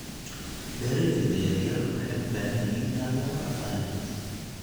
Beeralayda yaryar waxay u baahan yihiin taageero dhaqaale.